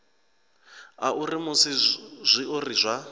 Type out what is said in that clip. a uri musi zwiori zwa